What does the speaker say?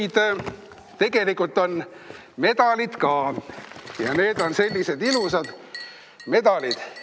Ja tegelikult on medalid ka ja need on sellised ilusad medalid.